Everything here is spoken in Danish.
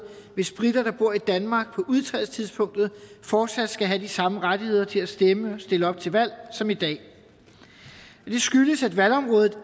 hvis briter der bor i danmark på udtrædelsestidspunktet fortsat skal have de samme rettigheder til at stemme og stille op til valg som i dag det skyldes at valgområdet